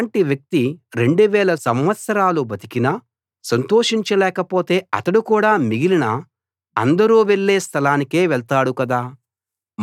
అలాటి వ్యక్తి రెండు వేల సంవత్సరాలు బతికినా సంతోషించలేక పోతే అతడు కూడా మిగిలిన అందరూ వెళ్ళే స్థలానికే వెళ్తాడు కదా